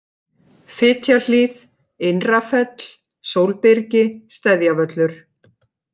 Fitjahlíð, Innra-Fell, Sólbyrgi, Steðjavöllur